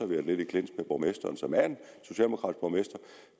været lidt i clinch med borgmesteren som er